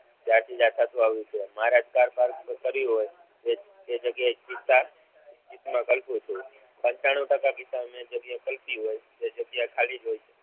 ત્યારથી જ આ થતુ આવ્યું છે મારા કાર પાર્ક કર્યું હોય તે જગ્યાએ કલ્પુ છુ. પંચાણુ ટકા કિસ્સો મેં જે કલ્પ્યું હોય તે જગ્યા ખાલી જ હોય છે.